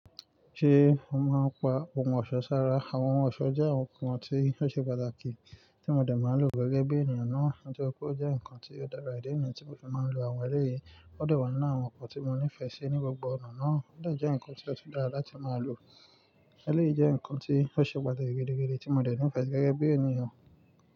Ṣé o máa ń pa ohun ọ̀ṣọ́ sára? Àwọn ohun ọ̀ṣọ́ jẹ́ àwọn nǹkan tí ó ṣe pàtàkì tí mo dẹ̀ máa n lò gẹ́gẹ́ bí ènìyàn náà. Nítori pe ó jẹ́ nǹkan tí ó dára, idi nìyí tí mo fì máa ń lo àwọn ẹlẹ́yìí. Ó de wa nínú àwọn nǹkan tí mo nífẹ̀ẹ́ sí ní gbogbo ọ̀nà náà. Ó de jẹ́ nǹkan tí ó tún dára láti máa lò. Ẹlẹ́yìí jẹ́ nǹkan tí ó ṣe pàtàkì gidigidi tí mo dẹ̀ nífẹ̀ẹ́ si gẹ́gẹ́ bí ènìyàn.